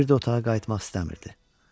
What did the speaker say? O bir də otağa qayıtmaq istəmirdi.